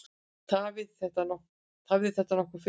Tafði þetta nokkuð fyrir.